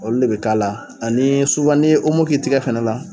Olu de bɛ k'a la ani ni ye k'i tigɛ fɛnɛ la.